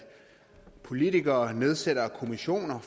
politikere nedsætter kommissioner